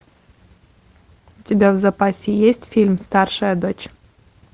у тебя в запасе есть фильм старшая дочь